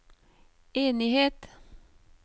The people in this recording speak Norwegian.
enighet